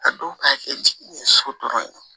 A dɔw ka kɛ jiginni so dɔrɔn ye